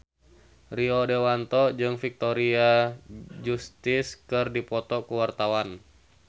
Rio Dewanto jeung Victoria Justice keur dipoto ku wartawan